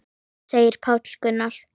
segir Páll Gunnar.